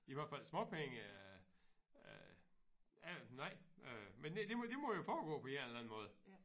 I hvert fald småpenge øh øh nej øh men det det må det må jo foregår på en eller anden måde